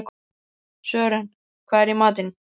Sören, hvað er í matinn?